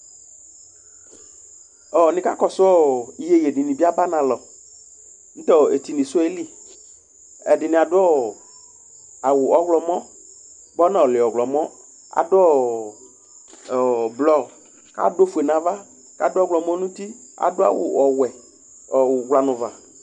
Nikakɔsʋ iyeye dini bi aba analɔ, nʋtʋ etinisʋ yɛli Ɛdini adʋ awʋ ɔwlɔmɔ, bʋa ɔnɔli ɔwlɔmɔ, ɛdini adʋ blɔ, adʋ ofue nʋ ava kʋ adʋ ɔwlɔmɔ nʋ uti adʋ awʋ ɔwɛ ʋwla nʋ uva